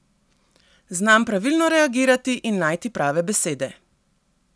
Znam pravilno reagirati in najti prave besede.